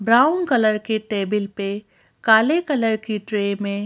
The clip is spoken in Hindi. ब्राउन कलर के टेबल पे काले कलर की ट्रे में--